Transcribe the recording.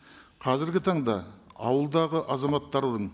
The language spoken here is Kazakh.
қазіргі таңда ауылдағы азаматтарының